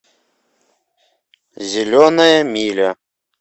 зеленая миля